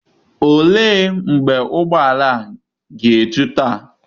Ole mgbe ụgbọ ala a ga-eju taa?